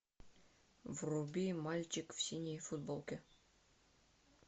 вруби мальчик в синей футболке